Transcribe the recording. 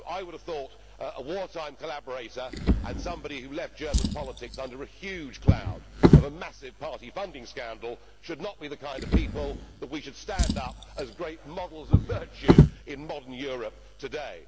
I would have thought a wartime collaborator and somebody who left German politics under a huge cloud of a massive party funding scandal should not be the kind of people that we should stand up as great models of virtue in modern Europe today.